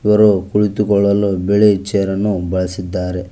ರು ಕುಳಿತುಕೊಳ್ಳಲು ಬಿಳಿ ಚೇರನ್ನು ಬಳಸಿದ್ದಾರೆ.